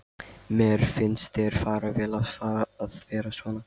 Mér finnst þér fara vel að vera svona.